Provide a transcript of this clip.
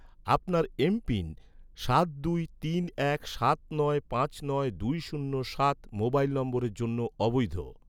আপনার এমপিন, সাত দুই তিন এক সাত নয় পাঁচ নয় দুই শূন্য সাত মোবাইল নম্বরের জন্য অবৈধ